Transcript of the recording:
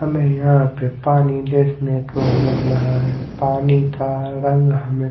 हमें यहाँ पे पानी देखने को मिल रहा है पानी का रंग हमें--